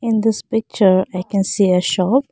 in this picture i can see a shop.